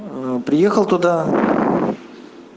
ээ приехал туда